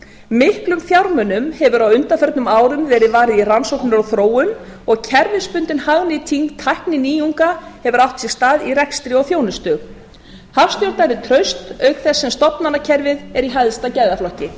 miklum fjármunum hefur á undanförnum árum verið varið í rannsóknir og þróun og kerfisbundin hagnýting tækninýjunga hefur átt sér stað í rekstri og þjónustu hagstjórn er traust auk þess sem stofnanakerfið er í hæsta gæðaflokki